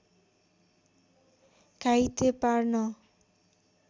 घाइते पार्न